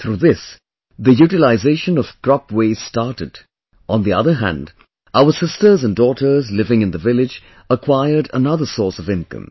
Through this, the utilization of crop waste started, on the other hand our sisters and daughters living in the village acquired another source of income